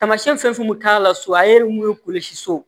Taamasiyɛn fɛn fɛn bɛ k'a la so a ye mun kolosi so